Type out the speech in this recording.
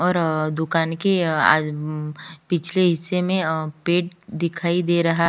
और अअ दुकान की अ आ अम्म पिछले हिस्से में अ पेट दिखाई दे रहा--